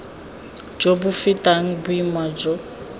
jo bo fetang boima jo